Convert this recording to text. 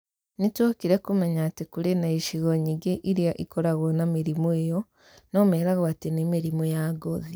Nĩ twokire kumenya atĩ kũrĩ na icigo nyingĩ iria ikoragwo na mĩrimũ ĩyo no meragwo atĩ nĩ mĩrimũ ya ngothi.